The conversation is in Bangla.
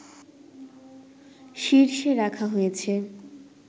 শীর্ষে রাখা হয়েছে